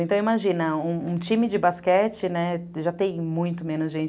Então, imagina, um um time de basquete, né, já tem muito menos gente.